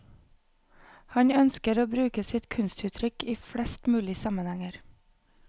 Han ønsker å bruke sitt kunstuttrykk i flest mulig sammenhenger.